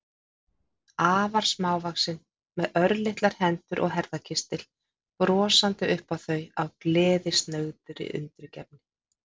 Afar smávaxin, með örlitlar hendur og herðakistil, brosandi upp á þau af gleðisnauðri undirgefni.